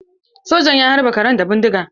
Sojan ya halbe karan da bindiga.